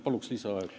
Palun lisaaega!